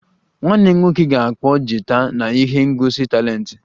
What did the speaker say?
Nwanne m nwoke ga-akpọ gita na ihe ngosi talenti